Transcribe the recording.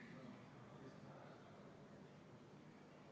Ka siin ei ole erandite pikendamine põhjendatud ja Elronil on valmisolek nõude täitmiseks.